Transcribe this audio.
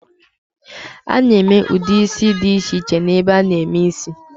A na-eme ụdị ísí dị iche iche n'ebe a na-eme ísí.